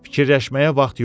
Fikirləşməyə vaxt yox idi.